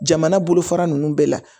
Jamana bolofara ninnu bɛɛ la